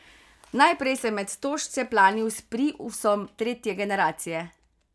Najprej sem med stožce planil s priusom tretje generacije.